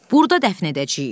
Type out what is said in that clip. Burda dəfn edəcəyik.